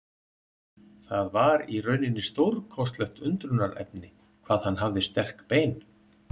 Það var í rauninni stórkostlegt undrunarefni hvað hann hafði sterk bein.